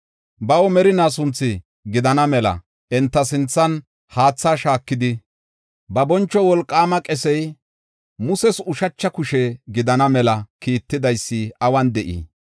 Baw merinaa sunthu gidana mela enta sinthan haatha shaakidi, ba boncho wolqaama qesey Muses ushacha kushe gidana mela kiittidaysi awun de7ii?